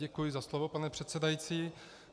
Děkuji za slovo, pane předsedající.